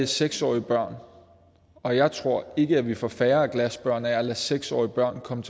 seks årige børn og jeg tror ikke at vi får færre glasbørn af at lade seks årige børn komme